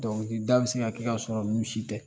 Dɔnkilida bi se ka kɛ, ka sɔrɔ ninnu si tɛ